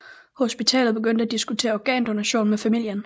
Hospitalet begyndte at diskutere organdonation med familien